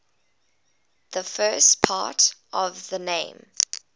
the first part of the name